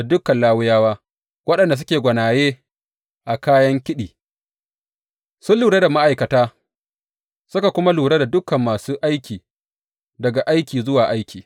Dukan Lawiyawa waɗanda suke gwanaye a kayan kiɗi, sun lura da ma’aikata, suka kuma lura da dukan masu aiki daga aiki zuwa aiki.